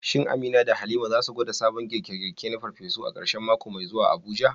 Shin Amina da Halima za su gwada sabon girke-girke na farfesu a karshen mako mai zuwa a Abuja?